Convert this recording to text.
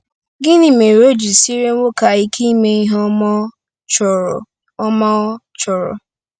Gịnị mere o ji siere nwoke a ike ime ihe ọma ọ chọrọ? ọma ọ chọrọ?